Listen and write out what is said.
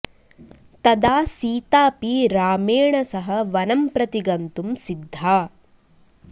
तदा सीतापि रामेण सह वनं प्रति गन्तुं सिद्धा